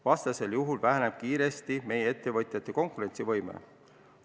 Vastasel juhul meie ettevõtjate konkurentsivõime väheneb kiiresti.